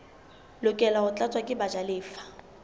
lokela ho tlatswa ke bajalefa